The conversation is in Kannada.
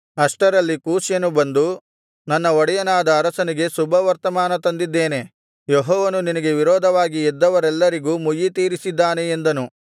ಅಷ್ಟರಲ್ಲಿ ಕೂಷ್ಯನು ಬಂದು ನನ್ನ ಒಡೆಯನಾದ ಅರಸನಿಗೆ ಶುಭವರ್ತಮಾನ ತಂದಿದ್ದೇನೆ ಯೆಹೋವನು ನಿನಗೆ ವಿರೋಧವಾಗಿ ಎದ್ದವರೆಲ್ಲರಿಗೂ ಮುಯ್ಯಿತೀರಿಸಿದ್ದಾನೆ ಎಂದನು